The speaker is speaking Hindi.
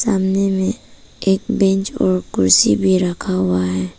सामने में एक बेंच और एक कुर्सी भी रखा हुआ है।